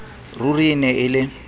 ruri e ne e le